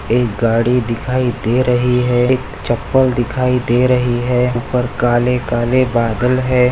एक गाड़ी दिखाई दे रही है एक चप्पल दिखाई दे रही है उपर काले-काले बादल है।